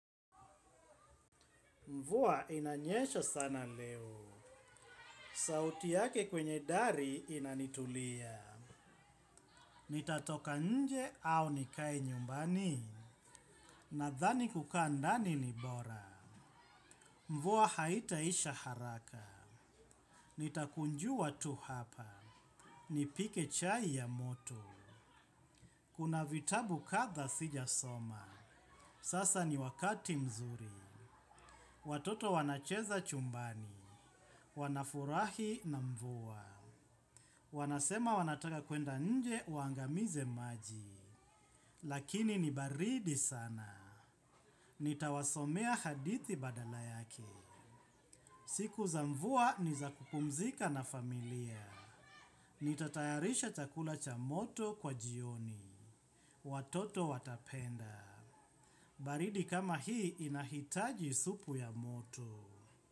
Mvua inanyesha sana leo sauti yake kwenye dari inanitulia. Nitatoka nje au nikae nyumbani nadhani kukaa ndani ni bora. Mvua haitaisha haraka, nitakunjua tu hapa nipike chai ya moto. Kuna vitabu kadha sijasoma, sasa ni wakati mzuri. Watoto wanacheza chumbani, wanafurahi na mvuwa. Wanasema wanataka kuenda nje, waangamize maji. Lakini ni baridi sana. Nitawasomea hadithi badala yake. Siku za mvua ni za kupumzika na familia. Nitatayarisha chakula cha moto kwa jioni. Watoto watapenda. Baridi kama hii inahitaji supu ya moto.